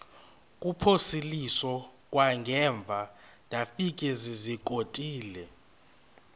kuphosiliso kwangaemva ndafikezizikotile